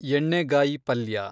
ಎಣ್ಣೆಗಾಯಿ ಪಲ್ಯ